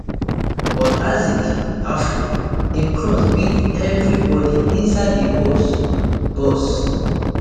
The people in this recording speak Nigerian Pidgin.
but isaac afful im cross beat everyibodi inside di box box